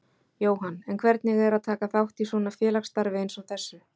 Jóhann: En hvernig er að taka þátt í svona félagsstarfi eins og þessu?